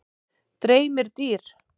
Dreymir dýr?